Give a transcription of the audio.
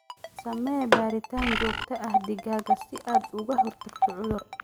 Samee baaritaan joogto ah digaagga si aad uga hortagto cudur.